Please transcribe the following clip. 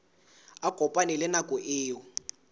a kopane le nako eo